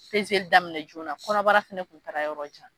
daminɛ joona kɔnɔbara fana tun taara yɔrɔ jan